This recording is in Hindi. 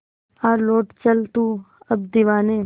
आ लौट चल तू अब दीवाने